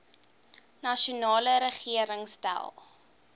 nasionale regering stel